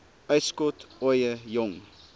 uitskot ooie jong